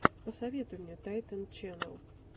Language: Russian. посоветуй мне тайтэн ченнал